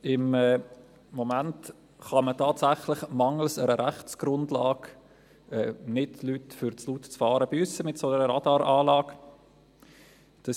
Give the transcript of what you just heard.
Im Moment kann man tatsächlich mangels Rechtsgrundlage Leute wegen zu lautem Fahren mit einer solchen Radaranlagen nicht büssen.